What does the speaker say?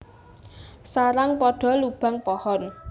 Sarang pada lubang pohon